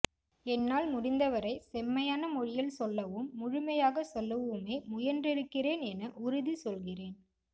என்னால் முடிந்தவரை செம்மையான மொழியில் சொல்லவும் முழுமையாகச் சொல்லவுமே முயன்றிருக்கிறேன் என உறுதி சொல்கிறேன்